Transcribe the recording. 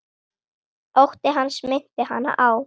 Ótti hans minnti hana á